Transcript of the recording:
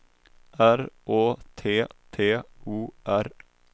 R Å T T O R